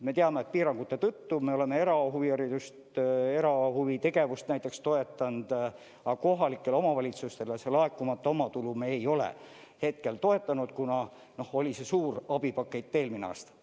Me teame, et piirangute tõttu me oleme erahuviharidust ja erahuvitegevust näiteks toetanud, aga kohalikke omavalitsusi me selle laekumata omatulu toetanud ei ole, kuna oli see suur abipakett eelmisel aastal.